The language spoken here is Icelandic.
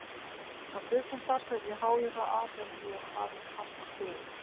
Á stuttum starfsferli háði það Abel mjög að hafa ekki fasta stöðu.